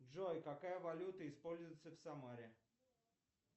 джой какая валюта используется в самаре